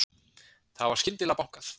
Þá var skyndilega bankað.